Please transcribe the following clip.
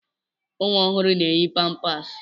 Ụmụ ọhụrụ na-eyi pampáásị.